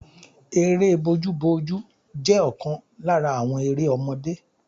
Eré bójú bójú jẹ́ ọ̀kan lára àwọn eré ọmọdé.